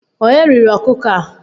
Onye riri ọkụkọ a?